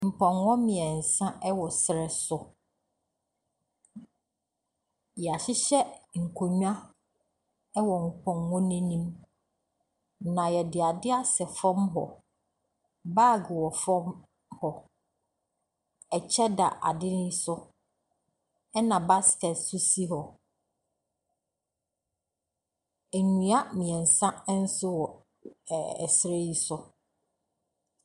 Mpnɔkɔ mmeɛnsa wɔ serɛ so. Wɔahyehyɛ nkonnwa wɔ mpɔnkɔ no anim, na wɔde aseɛ asɛ fam hɔ. Bag wɔ fam hɔ. Kyɛ da ade so, ɛnna basket nso si hɔ. Nnua mmeɛnsa nso wɔ ɛ ɛserɛ yi so.